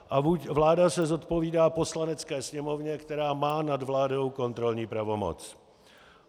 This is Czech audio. A vláda se zodpovídá Poslanecké sněmovně, která má nad vládou kontrolní pravomoc.